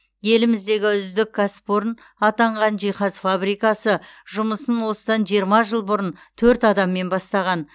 еліміздегі үздік кәсіпорын атанған жиһаз фабрикасы жұмысын осыдан жиырма жыл бұрын төрт адаммен бастаған